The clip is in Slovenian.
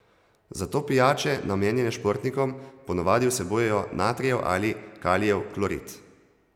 Zato pijače, namenjene športnikom, ponavadi vsebujejo natrijev ali kalijev klorid.